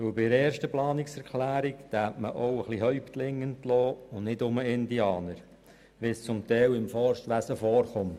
Bei der Umsetzung der ersten Planungserklärung würde man auch ein paar «Häuptlinge» entlassen und nicht nur «gewöhnliche Indianer», wie es teilweise im Forstwesen geschieht.